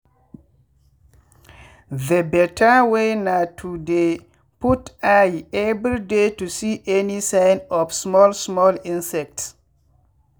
the better way na to dey put eye every day to see any sign of small small insects.